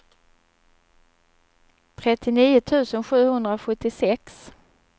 trettionio tusen sjuhundrasjuttiosex